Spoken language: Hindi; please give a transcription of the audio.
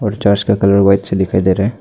चर्च का कलर व्हाइट से दिखाई दे रहा है।